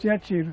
Tinha tiro.